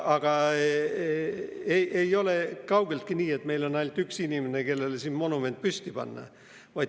Aga ei ole kaugeltki nii, et meil on ainult üks inimene, kellele monument püsti panna.